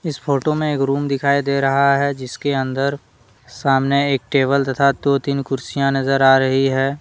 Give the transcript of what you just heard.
इस फोटो में एक रूम दिखाई दे रहा है जिसके अंदर सामने एक टेबल तथा दो तीन कुर्सियां नजर आ रही है।